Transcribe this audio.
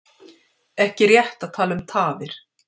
Ekki rétt að tala um tafir